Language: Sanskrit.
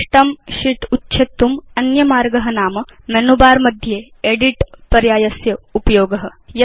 विशिष्टं शीत् उच्छेत्तुम् अन्यमार्ग नाम मेनु बर मध्ये एदित् पर्यायस्य उपयोग